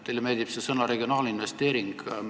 Teile meeldib sõna "regionaalinvesteering".